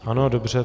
Ano, dobře.